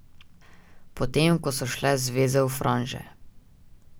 Potem ko so šle zveze v franže.